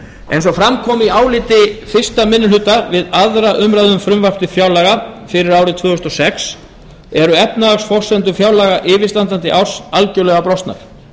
eins og fram kom í áliti við fyrstu minni hluta við aðra umræðu um frumvarp til fjárlaga fyrir árið tvö þúsund og sex eru efnahagsforsendur fjárlaga yfirstandandi árs algerlega brostnar